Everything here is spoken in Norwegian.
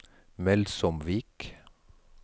Melsomvik